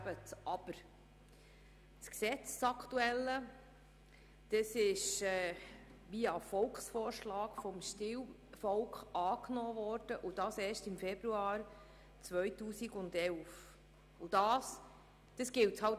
Das aktuelle Gesetz wurde erst im Februar 2011 via Volksvorschlag vom Stimmvolk angenommen, und das gilt es zu akzeptieren.